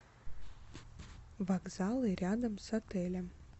вокзалы рядом с отелем